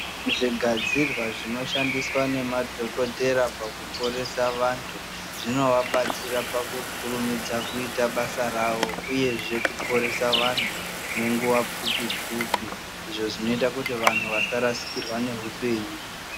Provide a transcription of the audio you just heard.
Zvigadzirwa zvinoshandiswa nemadhokodhera pakuporesa vantu zvinovabatsira pakukurumidza kuita basa rawo. Uyezve kuporesa vanhu nenguva pfupi pfupi izvo zvinoita vantu vasarasikirwa neupenyu .